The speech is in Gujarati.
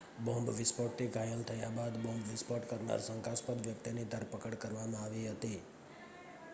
બોમ્બ વિસ્ફોટથી ઘાયલ થયા બાદ બોમ્બ વિસ્ફોટ કરનાર શંકાસ્પદ વ્યક્તિની ધરપકડ કરવામાં આવી હતી